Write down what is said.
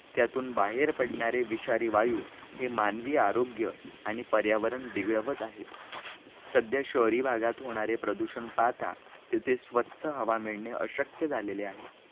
त्यातून बाहेर पडणारे विषारी वायू हे मानवी आरोग्य आणि पर्यावरण बिगळवत आहेत, ध्या शहरी भागात होणारे प्रदूषण पाहता तेथे स्वच्छ हवा मिळणे अशक्य झाले आहे